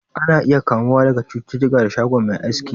Ana iya kamuwa da cuta daga shago Mai aski